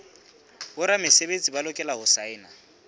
boramesebetsi ba lokela ho saena